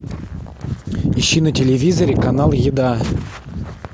ищи на телевизоре канал еда